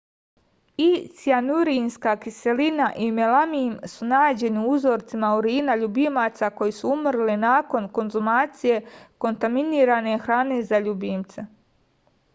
i cijanurinska kiselina i melamin su nađeni u uzorcima urina ljubimaca koji su umrli nakon konzumacije kontaminirane hrane za ljubimce